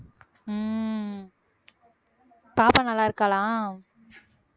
உம் பாப்பா நல்லா இருக்கா